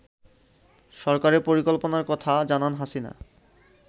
সরকারের পরিকল্পনার কথা জানান হাসিনা